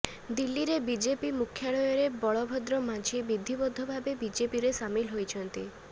ଦିଲ୍ଲୀରେ ବିଜେପି ମୁଖ୍ୟାଳୟରେ ବଳଭଦ୍ର ମାଝି ବିଧିବଦ୍ଧ ଭାବେ ବିଜେପିରେ ସାମିଲ ହୋଇଛନ୍ତି